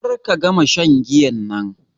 Ƙar ka gama shan giyan nan.